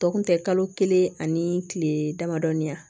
Tɔ kun tɛ kalo kelen ani kile damadɔɔni yan